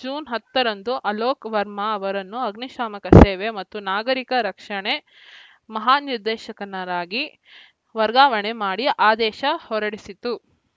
June ಹತ್ತರಂದು ಅಲೋಕ್‌ ವರ್ಮ ಅವರನ್ನು ಅಗ್ನಿಶಾಮಕ ಸೇವೆ ಮತ್ತು ನಾಗರಿಕ ರಕ್ಷಣೆ ಮಹಾನಿರ್ದೇಶಕನರಾಗಿ ವರ್ಗಾವಣೆ ಮಾಡಿ ಆದೇಶ ಹೊರಡಿಸಿತ್ತು